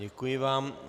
Děkuji vám.